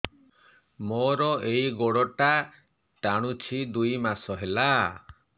ମୋର ଏଇ ଗୋଡ଼ଟା ଟାଣୁଛି ଦୁଇ ମାସ ହେଲା